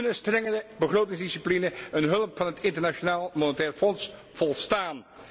Kunnen strengere begrotingsdiscipline en hulp van het Internationaal Monetair Fonds volstaan?